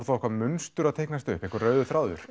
þá eitthvað munstur að teiknast upp einhver rauður þráður